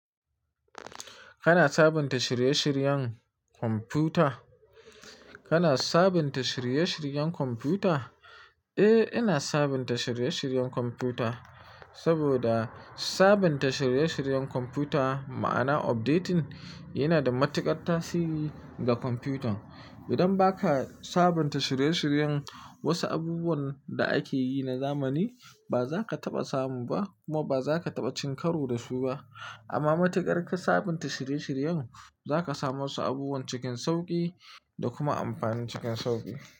Kana sabunta shirye-shiryen kwamfuta? Kana sabunta shirye-shiryen kwamfuta? Eh, ina sabunta shirye-shiryen kwamfuta saboda sabunta shirye-shiryen kwamfuta ma'ana updating yana da matuƙar tasiri ga kwamfutan. Idan ba ka sabunta shirye-shiryen wasu abubuwan da ake yi na zamani, ba za ka taɓa samu ba kuma ba za ka taɓa cin karo da su ba. Amma matuƙar ka sabunta shirye-shiryen, za ka samu wasu abubuwan cikin sauƙi da kuma amfani cikin sauƙi.